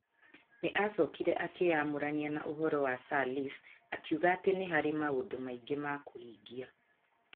Nĩ acokire akĩĩyamũrania na ũhoro wa Sirleaf akiuga atĩ nĩ harĩ maũndũ maingĩ ma kũhingia.